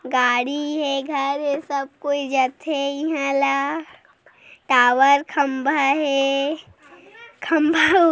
गाड़ी हे घर हे सब कोई जाथे इहा ला टावर खंबा हे खम्भा--